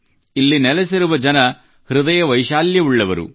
ಇಲ್ಲಿ ನೆಲೆಸಿರುವ ಜನರು ಹೃದಯವೈಶಾಲ್ಯ ಉಳ್ಳವರು